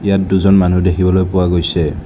ইয়াত দুজন মানুহ দেখিবলৈ পোৱা গৈছে।